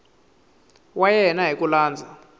wa yena hi ku landza